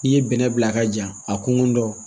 N'i ye bɛnɛ bila ka ja a kun dɔ